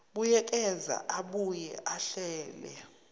buyekeza abuye ahlele